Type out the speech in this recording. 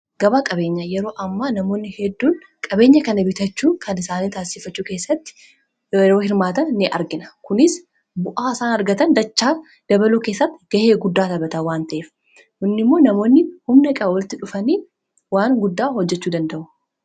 gabaa qabeenya yeroo ammaa namoonni hedduun qabeenya kana bitachuu kan isaanii taasiiffachuu keessatti yeroo hirmaatan ni argina kunis bu'aa isaan argatan dachaa dabaluu keessatti ga'ee guddaa taphata waan ta'eef kun immoo namoonni humna qaban walitti dhufanii waan guddaa hojjechuu danda'u